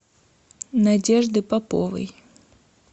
надежды поповой